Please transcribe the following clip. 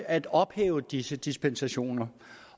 at ophæve disse dispensationer